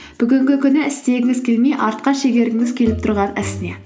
бүгінгі күні істегіңіз келмей артқа шегергіңіз келіп тұрған іс не